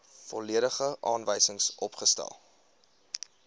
volledige aanwysings opgestel